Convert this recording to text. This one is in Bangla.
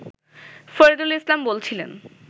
ফরিদুল ইসলাম বলছিলেন